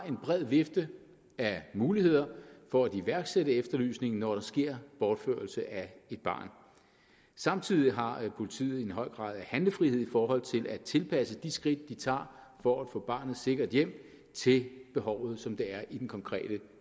en bred vifte af muligheder for at iværksætte en efterlysning når der sker bortførelse af et barn samtidig har politiet en høj grad af handlefrihed i forhold til at tilpasse de skridt de tager for at få barnet sikkert hjem til behovet som det er i den konkrete